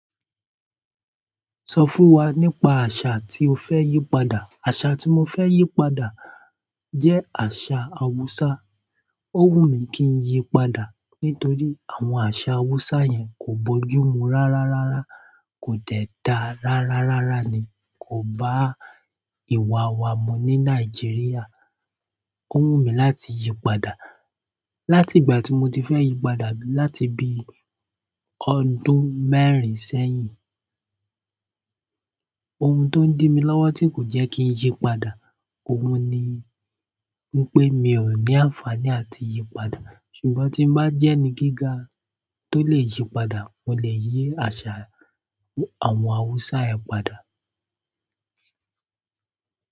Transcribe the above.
Sọ fún wa nípa àṣà tí o fẹ́ yí padà. Àṣà tí mo fẹ́ yí padà jẹ́ àṣà Awúsá. Ó wù mí kí n yí padà nítorí àwọn àṣà Awúsá yẹn kò bọ́júmu rárárárá, kò dẹ̀ dá rárárárá ni, kò bá ìwà wa mu ní Nàìjíríà. Ó wù mí láti yí padà. Láti ìgbà tí mo ti fẹ́ yí padà láti bíi ọdún mẹ́rin sẹ́yìn. Ohun tó ń dí mi lọ́wọ́ tí kò jẹ́ kí n yí padà, òun ni wípé mi ò ní àǹfàní àti yí padà. Ṣùgbọ́n tí bá jẹ́ ẹni gíga tó lè yí padà, mo lè yí àṣà àwọn Awúsá yẹn padà.